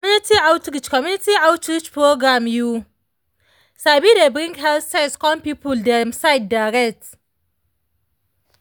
community outreach community outreach programs you sabi dey bring health sense come people dem side direct